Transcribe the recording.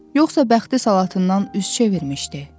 Yoxsa bəxti salatından üz çevirmişdi?